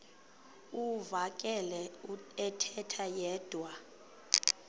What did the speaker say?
uvakele ethetha yedwa